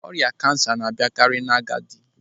Ọrịa kansa na-abịakari n'agadi.